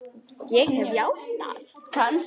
Ég hef játað.